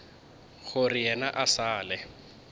gore yena e sa le